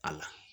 A la